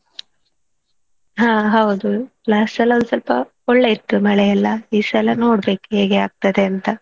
ಹಾ ಹೌದು last ಎಲ್ಲಾ ಸ್ವಲ್ಪ ಒಳ್ಳೆ ಇತ್ತು ಮಳೆಎಲ್ಲಾ ಈ ಸಲ ನೋಡ್ಬೇಕು ಹೇಗೆ ಆಗ್ತದೆ ಅಂತ.